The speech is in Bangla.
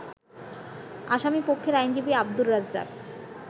আসামিপক্ষের আইনজীবী আব্দুর রাজ্জাক